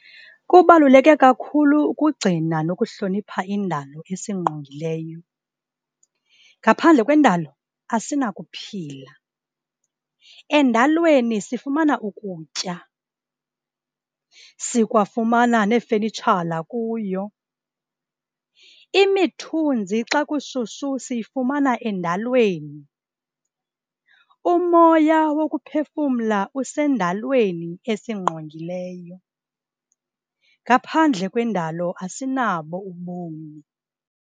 Kubaluleke kakhulu ukugcina nokuhlonipha indalo esingqongileyo, ngaphandle kwendalo asinakuphila. Endalweni sifumana ukutya, sikwafumana neefenitshala kuyo. Imithunzi xa kushushu siyifumana endalweni. Umoya wokuphefumla usendalweni esingqongileyo. Ngaphandle kwendalo asinabo ubomi.